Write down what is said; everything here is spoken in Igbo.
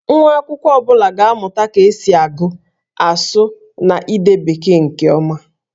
Nwa akwụkwọ ọ bụla ga-amụta ka esi agụ, asụ, na ide Bekee nke ọma